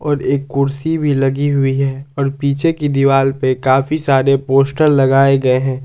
और एक कुर्सी भी लगी हुई है और पीछे की दीवाल पे काफी सारे पोस्टर लगाए गए हैं।